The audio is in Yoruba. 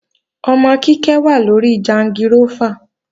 Ọmọ Kíkẹ́ wà lóri jangirófà